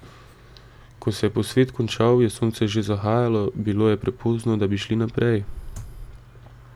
Ko se je posvet končal, je sonce že zahajalo, Bilo je prepozno, da bi šli naprej.